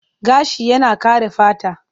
Gashi yana kare fata.